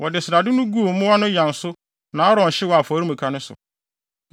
Wɔde srade no guu mmoa no yan so na Aaron hyew wɔ afɔremuka no so.